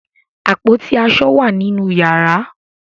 Àpótí aṣọ wà nínú yàrá.